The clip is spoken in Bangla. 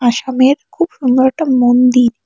সামের খুব সুন্দর একটা মন্দির।